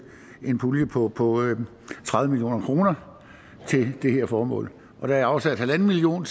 en pulje på på tredive million kroner til det her formål der er afsat en million